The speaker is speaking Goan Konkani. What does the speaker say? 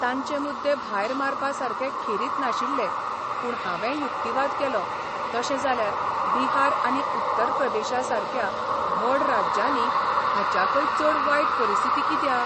तांचे मुद्दे भायर मारपा सारका खेरीत नाशिल्ले पूण हावेंय युक्तिवाद केलो तशें जाल्यार बिहार आनी उत्तर प्रदेशा सारक्या व्हड राज्यांनी हाच्याकय चड वायट परिस्थिती कित्याक?